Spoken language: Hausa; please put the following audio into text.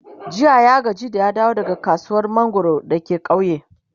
jiya ya gaji da ya dawo daga kasuwar mangwaro dake kauye